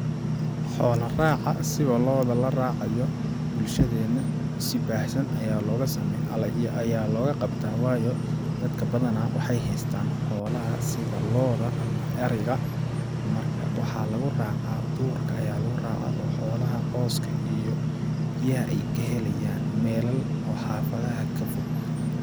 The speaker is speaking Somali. Xoola raaca sida looda la raacayo bulshadeena si baahsan ayaa looga sameyaa ,ayaa looga qabtaa waayo dadka badanaa waxeey hestaan xoolaha sida looda ama ariga marka waxaa lagu racaa duurka, duurka ayaa lagu racaa oo xoolaha cawska iyo biyaha ay ka helaan iyo meelal oo xafaadaha ka fog .